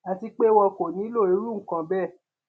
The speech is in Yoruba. àti pé wọn kò nílò irú nǹkan bẹẹ